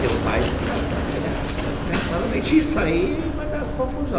Teu pai, você sabe como é que é. Se eu começar a mentir isso aí, vai dar confusão.